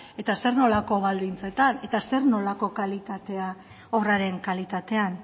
eta zer nolako baldintzetan eta zer nolako obraren kalitatean